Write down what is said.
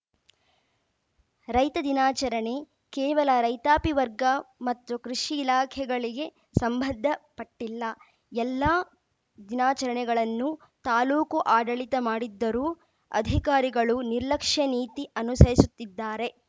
ರೈತ ದಿನಾಚರಣೆ ಕೇವಲ ರೈತಾಪಿ ವರ್ಗ ಮತ್ತು ಕೃಷಿ ಇಲಾಖೆಗಳಿಗೆ ಸಂಬಂಧಪಟ್ಟಿಲ್ಲ ಎಲ್ಲಾ ದಿನಾಚರಣೆಗಳನ್ನು ತಾಲೂಕು ಆಡಳಿತ ಮಾಡುತ್ತಿದ್ದರೂ ಅಧಿಕಾರಿಗಳು ನಿರ್ಲಕ್ಷ್ಯ ನೀತಿ ಅನುಸರಿಸುತ್ತಿದ್ದಾರೆ